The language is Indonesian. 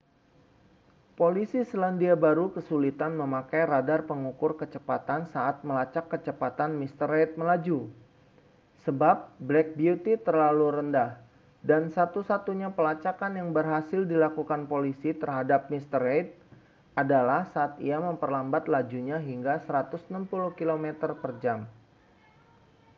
polisi selandia baru kesulitan memakai radar pengukur kecepatan saat melacak kecepatan mr reid melaju sebab black beauty terlalu rendah dan satu-satunya pelacakan yang berhasil dilakukan polisi terhadap mr reid adalah saat ia memperlambat lajunya hingga 160 km/jam